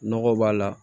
Nɔgɔ b'a la